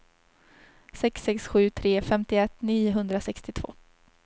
sex sex sju tre femtioett niohundrasextiotvå